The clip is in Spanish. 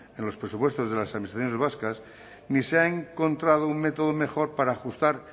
en los presupuestos de las administraciones vascas ni se ha encontrado un método mejor para ajustar